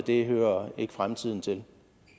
ikke hører fremtiden til